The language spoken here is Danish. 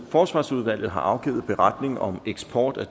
forsvarsudvalget har afgivet beretning om eksport af